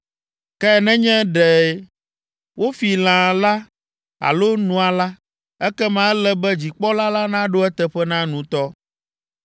Ke nenye ɖe wofi lã la alo nua la, ekema ele be dzikpɔla la naɖo eteƒe na nutɔ.